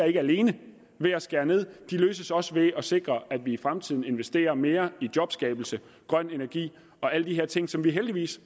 ikke alene ved at skære ned de løses også ved at sikre at vi i fremtiden investerer mere i jobskabelse grøn energi og alle de her ting som vi heldigvis